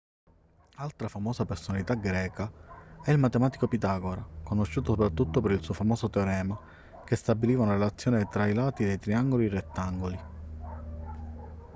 altra famosa personalità greca è il matematico pitagora conosciuto soprattutto per il suo famoso teorema che stabiliva una relazione tra i lati dei triangoli rettangoli